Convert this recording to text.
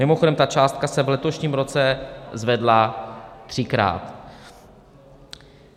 Mimochodem, ta částka se v letošním roce zvedla třikrát.